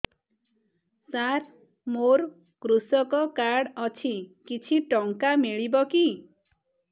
ସାର ମୋର୍ କୃଷକ କାର୍ଡ ଅଛି କିଛି ଟଙ୍କା ମିଳିବ କି